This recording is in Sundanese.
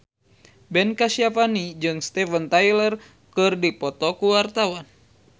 Ben Kasyafani jeung Steven Tyler keur dipoto ku wartawan